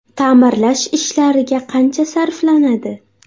Ta’mirlash ishlariga qancha sarflanadi?